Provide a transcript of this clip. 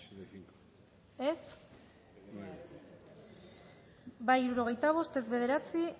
dezakegu bozketaren emaitza onako izan da hirurogeita hamalau eman dugu bozka hirurogeita bost boto aldekoa nueve contra